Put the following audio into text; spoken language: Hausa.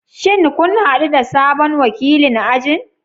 Shin kun hadu da sabon wakilin ajin?